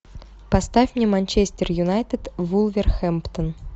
поставь мне манчестер юнайтед вулверхэмптон